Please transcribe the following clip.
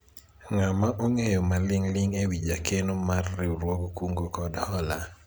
ng'ama ong'eyo maling'ling' ewi jakeno no mar riwruog kungo kod hola ?